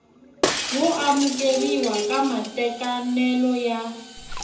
wo amukeriwa ka matekanelo ya